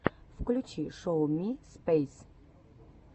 включи шоу ми спейс